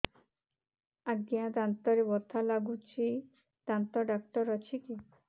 ଆଜ୍ଞା ଦାନ୍ତରେ ବଥା ଲାଗୁଚି ଦାନ୍ତ ଡାକ୍ତର ଅଛି କି